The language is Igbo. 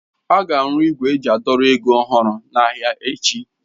Ága arụ igwe eji a dọrọ ego ọhụrụ n'ahịa echi.